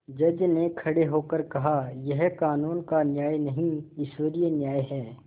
जज ने खड़े होकर कहायह कानून का न्याय नहीं ईश्वरीय न्याय है